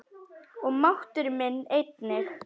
Og máttur minn einnig.